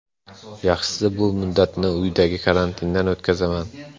Yaxshisi bu muddatni uydagi karantinda o‘tkazaman.